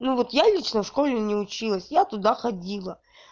ну вот я лично в школе не училась я туда ходила